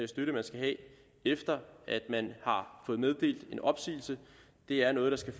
støtte man skal have efter at man har fået meddelt sin opsigelse er noget der skal